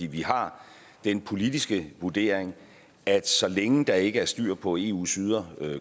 vi har den politiske vurdering at så længe der ikke er styr på eus ydre